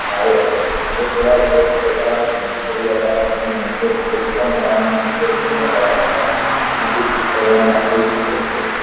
નક્કી કર્યા બાદ નક્કી કરવામાં થયી શકે છે